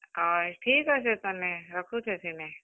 ହଏ ଠିକ୍ ଅଛେ ତେନେ ରଖୁଛେଁ ସିନେ।